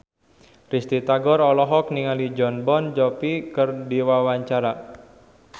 Risty Tagor olohok ningali Jon Bon Jovi keur diwawancara